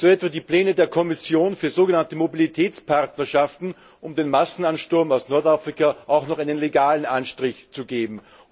So etwa die Pläne der Kommission für sogenannte Mobilitätspartnerschaften, um dem Massenansturm aus Nordafrika auch noch einen legalen Anstrich zu geben.